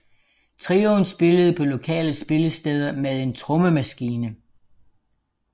Trioen spillede på lokale spillesteder med en trommemaskine